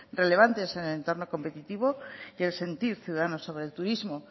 relevantes en el entorno competitivo y el sentir ciudadano sobre el turismo